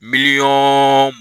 Miliyɔn